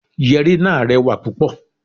Yẹ̀rì náà rẹwà púpọ̀.